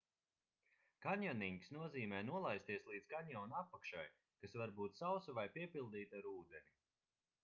kanjonings nozīmē nolaisties līdz kanjona apakšai kas var būt sausa vai piepildīta ar ūdeni